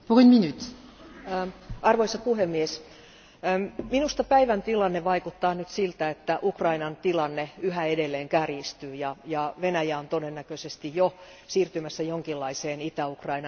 Arvoisa puhemies, minusta päivän tilanne vaikuttaa nyt siltä, että Ukrainan tilanne yhä edelleen kärjistyy ja Venäjä on todennäköisesti jo siirtymässä jonkinlaiseen Itä Ukrainan valtaustilanteeseen.